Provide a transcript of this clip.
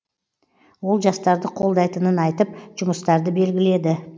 ол жастарды қолдайтынын айтып жұмыстарды белгіледі